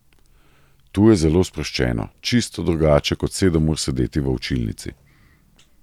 Tu je zelo sproščeno, čisto drugače kot sedem ur sedeti v učilnici.